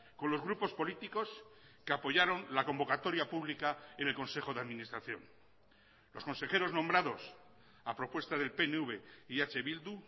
con los grupos políticos que apoyaron la convocatoria pública en el consejo de administración los consejeros nombrados a propuesta del pnv y eh bildu